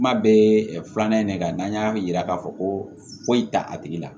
Kuma bɛɛ filanan ye ne kan n'an y'a yira k'a fɔ ko foyi t'a tigi la